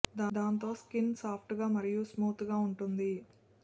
దాంతో skin soft గా మరియు స్మూత్ గా ఉంటుంది